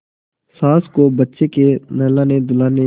सास को बच्चे के नहलानेधुलाने